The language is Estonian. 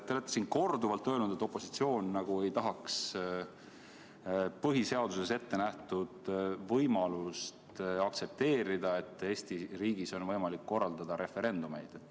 Te olete siin korduvalt öelnud, et opositsioon nagu ei tahaks aktsepteerida põhiseaduses ettenähtud võimalust, et Eesti riigis on võimalik korraldada referendumeid.